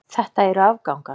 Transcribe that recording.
Þetta eru afgangar.